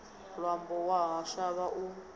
ṅwambo wa u shavha u